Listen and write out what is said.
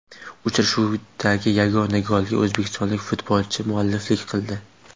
Uchrashuvdagi yagona golga o‘zbekistonlik futbolchi mualliflik qildi.